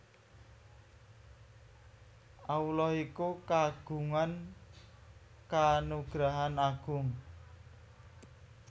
Allah iku kagungan kanugrahan Agung